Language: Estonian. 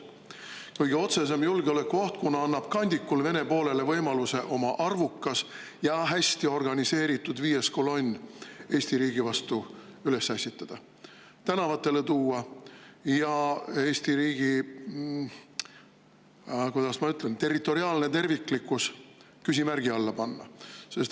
See on kõige otsesem julgeolekuoht, kuna annab kandikul Vene poolele võimaluse oma arvukas ja hästi organiseeritud viies kolonn Eesti riigi vastu üles ässitada, tänavatele tuua ja Eesti riigi, kuidas ma ütlen, territoriaalne terviklikkus küsimärgi alla panna.